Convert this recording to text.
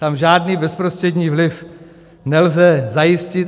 Tam žádný bezprostřední vliv nelze zajistit.